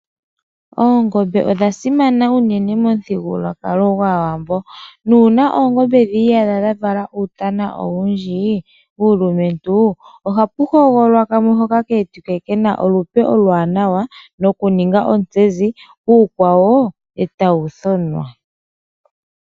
Oongobe odha simana unene momu thigululwakala gwaawambo, nuuna oongobe dhii yadha dha vala uutana owundji uulumentu, oha pu hogololwa kamwe hoka kewetike kena olupe olwaa nawa nokuninga ontsezi, uukwawo eta wu thonwa.